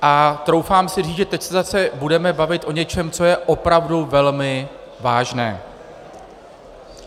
A troufám si říct, že teď se zase budeme bavit o něčem, co je opravdu velmi vážné.